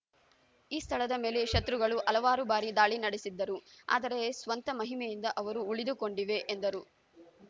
ಈ ಸ್ಥಳದ ಮೇಲೆ ಶತ್ರುಗಳು ಹಲವಾರು ಬಾರಿ ದಾಳಿ ನಡೆಸಿದ್ದರು ಆದರೆ ಸ್ವಂತ ಮಹಿಮೆಯಿಂದ ಅವು ಉಳಿದುಕೊಂಡಿವೆ ಎಂದರು